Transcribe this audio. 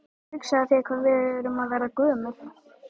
Hugsaðu þér hvað við erum að verða gömul.